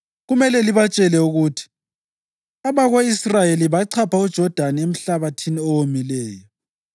Kumele libatshele ukuthi ‘Abako-Israyeli bachapha uJodani emhlabathini owomileyo!’